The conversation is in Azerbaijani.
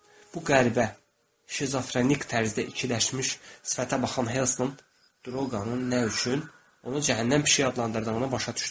Bu qəribə şizofrenik tərzdə ikiləşmiş sifətə baxan Helston Droqa-nın nə üçün onu cəhənnəm pişiyi adlandırdığını başa düşdü.